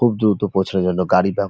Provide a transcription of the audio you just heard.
খুব দ্রুত পৌঁছানোর জন্য গাড়ি ব্যব--